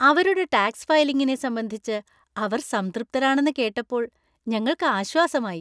അവരുടെ ടാക്സ് ഫയലിങ്ങിനെ സംബന്ധിച്ച് അവർ സംതൃപ്തരാണെന്ന് കേട്ടപ്പോൾ ഞങ്ങൾക്ക് ആശ്വാസമായി.